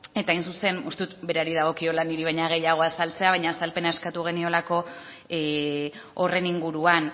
eta hain zuzen uste dut berari dagokiola niri baino gehiago azaltzea baina azalpena eskatu geniolako horren inguruan